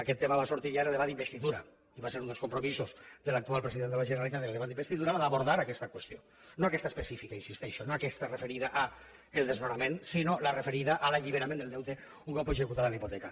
aquest tema va sortir ja en el debat d’investidura i va ser un dels compromisos de l’actual president de la generalitat en el debat d’investidura el d’abordar aquesta qüestió no aquesta específica hi insisteixo no aquesta referida al desnonament sinó la referida a l’alliberament del deute un cop executada la hipoteca